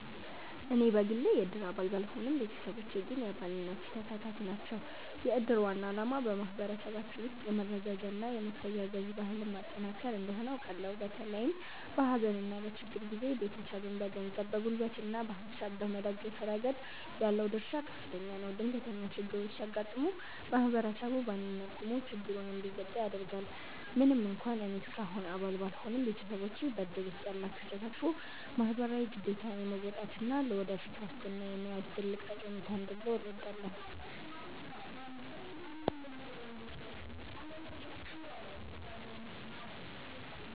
እኔ በግሌ የእድር አባል ባልሆንም፣ ቤተሰቦቼ ግን የአባልነቱ ተሳታፊ ናቸው። የእድር ዋና ዓላማ በማኅበረሰባችን ውስጥ የመረዳጃና የመተጋገዝ ባህልን ማጠናከር እንደሆነ አውቃለሁ። በተለይም በሐዘንና በችግር ጊዜ ቤተሰብን በገንዘብ፣ በጉልበትና በሐሳብ በመደገፍ ረገድ ያለው ድርሻ ከፍተኛ ነው። ድንገተኛ ችግሮች ሲያጋጥሙ ማኅበረሰቡ በአንድነት ቆሞ ችግሩን እንዲወጣ ያደርጋል። ምንም እንኳን እኔ እስካሁን አባል ባልሆንም፣ ቤተሰቦቼ በእድር ውስጥ ያላቸው ተሳትፎ ማኅበራዊ ግዴታን የመወጣትና ለወደፊት ዋስትና የመያዝ ትልቅ ጠቀሜታ እንዳለው እረዳለሁ።